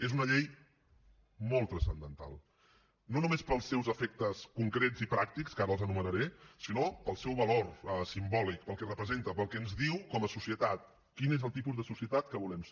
és una llei molt transcendental no només pels seus efectes concrets i pràctics ara els enumeraré sinó pel seu valor simbòlic pel que representa pel que ens diu com a societat quin és el tipus de societat que volem ser